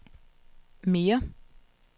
mere